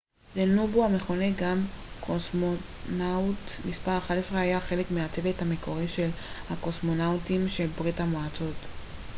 לנובו המכונה גם קוסמונאוט מס 11 היה חלק מהצוות המקורי של הקוסמונאוטים של ברית המועצות